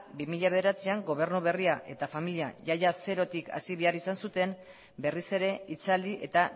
bi mila bederatzian gobernu berria eta familia ia ia zerotik hasi behar izan zuten berriz ere hitzaldi eta